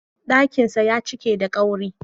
Ɗakinsa ya cike da ƙwari.